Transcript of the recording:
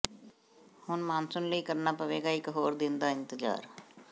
ਹੁਣ ਮਾਨਸੂਨ ਲਈ ਕਰਨਾ ਪਵੇਗਾ ਇੱਕ ਹੋਰ ਦਿਨ ਦਾ ਇੰਤਜ਼ਾਰ